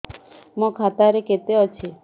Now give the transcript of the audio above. ମୋ ଖାତା ରେ କେତେ ଅଛି